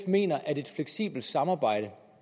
mener at et fleksibelt samarbejde